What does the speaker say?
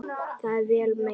Það er vel meint.